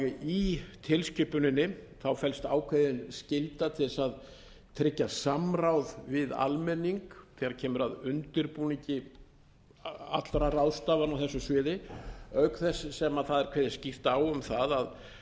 í tilskipuninni felst ákveðin skylda til þess að tryggja samráð við almenning þegar kemur að undirbúningi allra ráðstafana á þessu sviði auk þess sem það er kveðið skýrt á um það að